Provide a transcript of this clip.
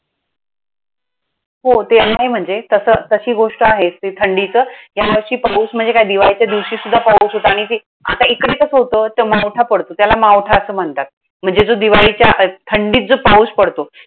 हो ते आहे म्हणजे. तसं, तशी गोष्ट आहे ते थंडीचं. ह्या वर्षी पाऊण म्हणजे काय दिवाळीच्या दिवशीसुद्धा पाऊस होता. आणि ते, आता इकडे कसं होतं! तो मावठा पडतो. त्याला मावठा असं म्हणतात. म्हणजे जो दिवाळीच्या थंडीत जो पाऊस पडतो.